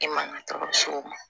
E man ka so